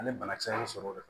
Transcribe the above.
Ani banakisɛw sɔrɔ